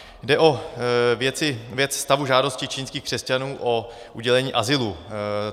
Jde o věc stavu žádosti čínských křesťanů o udělení azylu.